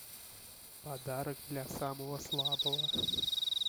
подарок для самого слабого